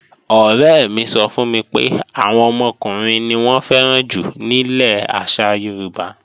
Ọ̀rẹ́ mi sọ fún mi pé, àwọn ọmọkùnrin ni wọ́n fẹ́ràn jù nílẹ̀ àṣà Yorùbá